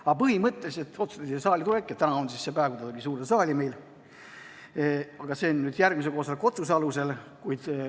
Aga põhimõtteliselt otsustati siia saali tulek, ja täna on siis see päev, kui ta tuli suurde saali – seda järgmise koosoleku otsuse alusel.